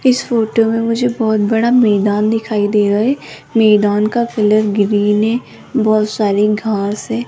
इस फोटो में मुझे बहुत बड़ा मैदान दिखाई दे रहा है मैदान का कलर ग्रीन है बहुत सारी घास है।